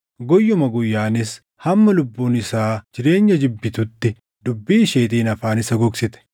Guyyuma guyyaanis hamma lubbuun isaa jireenya jibbitutti dubbii isheetiin afaan isa gogsite.